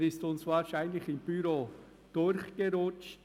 Er ist uns wahrscheinlich im Büro durchgerutscht.